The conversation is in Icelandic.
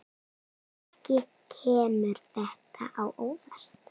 Ekki kemur þetta á óvart.